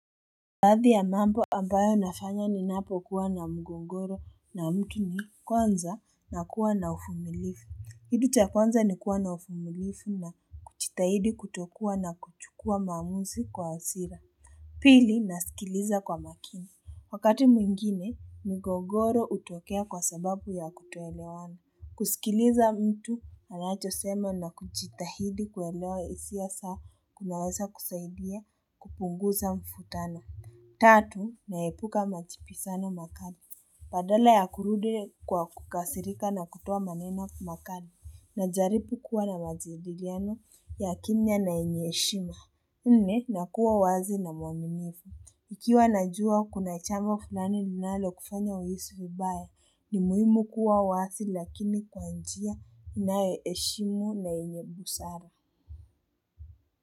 Baadhi ya mambo ambayo nafanya ninapokuwa na mgogoro na mtu ni kwanza nakuwa na uvumilivu kitu cha kwanza ni kuwa na uvumilivu na kujitahidi kutokuwa na kuchukua maamuzi kwa hasira pili nasikiliza kwa makini wakati mwingine mgogoro hutokea kwa sababu ya kutoelewana kusikiliza mtu anachosema na kujitahidi kuelewa hisia za kunaweza kusaidia kupunguza mvutano Tatu, naepuka majibizano makali, badala ya kurudi kwa kukasirika na kutoa maneno makali, najaribu kuwa na majadiliano ya kimya na yenye heshima, nne nakuwa wazi na mwaminifu ikiwa najua kuna jambo fulani linalo kufanya uhisi vibaya, ni muhimu kuwa wazi lakini kwa njia inayoheshimu na yenye busara.